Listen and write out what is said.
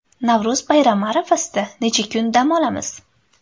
Navro‘z bayrami arafasida necha kun dam olamiz?.